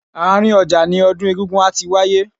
Àárín ọjà ni odun egúngún á ti wáyé.